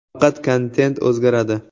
Faqat kontent o‘zgaradi.